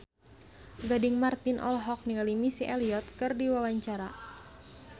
Gading Marten olohok ningali Missy Elliott keur diwawancara